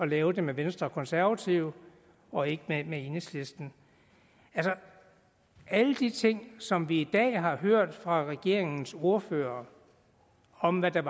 lave det med venstre og konservative og ikke med enhedslisten alle de ting som vi i dag har hørt fra regeringens ordførere om hvad der